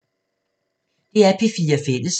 DR P4 Fælles